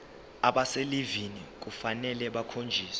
abaselivini kufanele bakhonjiswe